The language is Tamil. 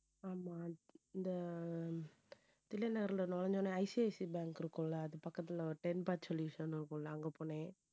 ஆமா இந்த தில்லைநகர்ல நுழைஞ்ச உடனே ICICI bank இருக்கும்ல அது பக்கத்துல ஒரு ten park solution இருக்கும்ல அங்க போனேன்